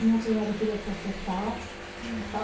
Minha cunhada queria processar o hospital.